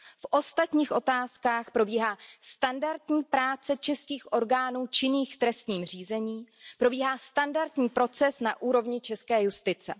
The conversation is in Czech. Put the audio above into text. V ostatních otázkách probíhá standardní práce českých orgánů činných v trestním řízení, probíhá standardní proces na úrovni české justice.